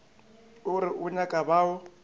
o re o nyaka bao